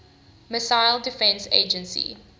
missile defense agency